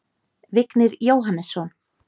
Vignir Jóhannesson